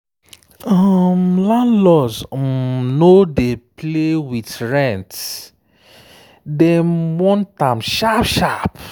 plenty people dey try save money wey fit cover 3–6 months expenses.